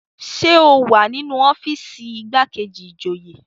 Ṣé o wà ní ọ́fíìsì igbákejì ìjòyè?